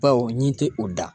Bawo ɲin tɛ u da